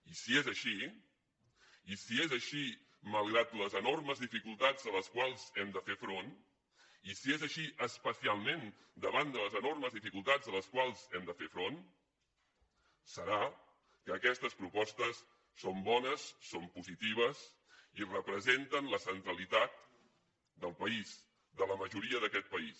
i si és així i si és així malgrat les enormes dificultats a les quals hem de fer front i si és així especialment davant de les enormes dificultats a les quals hem de fer front deu ser que aquestes propostes són bones són positives i representen la centralitat del país de la majoria d’aquest país